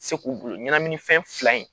Se k'u bolo ɲɛnaminifɛn fila in